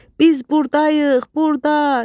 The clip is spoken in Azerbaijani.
Biz burdayıq, burda!